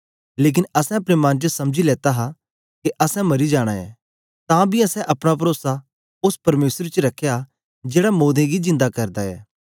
लेकन असैं अपने मन च समझी लेता हा के असैं मरी जाना ऐ तां बी असैं अपना परोसा ओस परमेसर च रखया जेड़ा मोदें गी जिन्दा करदा ऐ